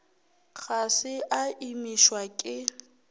ga se a imišwa ke